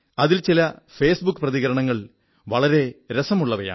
അതിൽ ചില ഫേസ്ബുക്ക് പ്രതികരണങ്ങൾ വളരെ രസമുള്ളവയാണ്